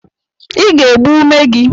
I ga-egbu umeji gị!